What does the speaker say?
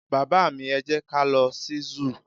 baba mi, e jẹ ka lo sí zoo